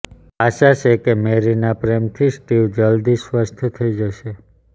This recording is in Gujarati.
આશા છે કે મેરીના પ્રેમથી સ્ટીવ જલદી સ્વસ્થ થઈ જશે